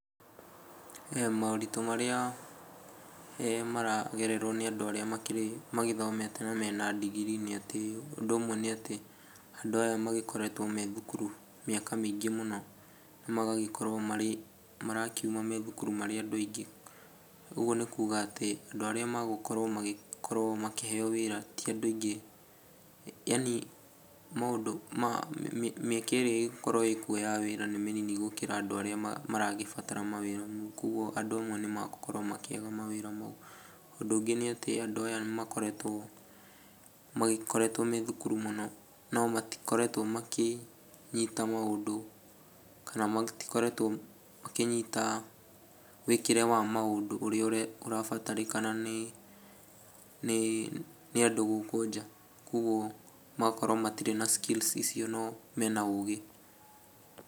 Moritũ marĩa maragererwo nĩ andũ arĩa magĩthomete na mena ndigirii nĩ atĩ, ũndũ ũmwe nĩ atĩ andũ aya makoretwo me thukuru mĩaka mĩingĩ mũno na magagĩkorwo marĩ marakiuma thukuru marĩ andũ aingĩ. Ũguo nĩ kuuga atĩ andũ arĩa magũkorwo magĩkorwo makĩheo wĩra ti andũ aingĩ. Yaani maũndũ ma mĩaka ĩrĩa ĩgũkorwo kuo ya wĩra nĩ mĩnini gũkĩra andũ arĩa maragĩbatara mawĩra. Kwoguo andũ amwe nĩ megũkorwo makĩaga mawĩra mau. Ũndũ ũngĩ nĩ atĩ andũ aya nĩ magĩkoretwo magĩkoretwo me thukuru mũno no matikoretwo makĩnyita maũndũ kana matikoretwo makĩnyita wĩĩkĩre wa maũndũ ũrĩa ũrabatarĩnĩka ni andũ gũkũ nja. Kwoguo magakorwo matirĩ na skills icio no mena ũgĩ.